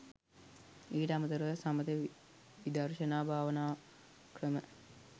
ඊට අමතරව සමථ විදර්ශනා භාවනා ක්‍රම